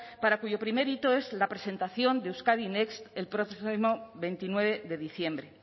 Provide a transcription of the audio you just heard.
para cuyo primer hito es la presentación de euskadi next el propio veintinueve de diciembre